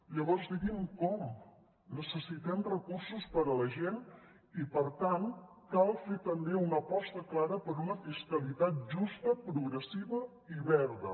llavors digui’m com necessitem recursos per a la gent i per tant cal fer també una aposta clara per una fiscalitat justa progressiva i verda